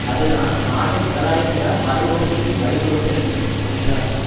அதுதான் நாட்டை முதலாளித்துவ மறு ஒற்றுமைக்கு வழிவகுத்தது என்றும் சொல்கிறார்